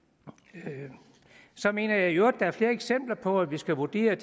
så mener jeg i øvrigt der er flere eksempler på at vi skal vurdere